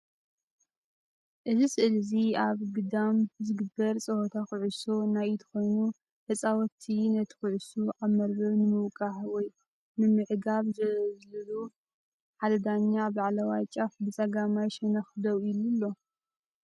እዚ ስእሊ እዚ ኣብ ግዳም ዚግበር ጸወታ ዅዕሶ ናይ ኢድ ኮይኑ ተጻወትቲ ነታ ዅዕሶ ኣብ መርበብ ንምውቃዕ ወይ ንምዕጋት ይዘልሉ። ሓደ ዳኛ ኣብ ላዕለዋይ ጫፍ ብጸጋማይ ሸነኽ ደው ኢሉ ኣሎ።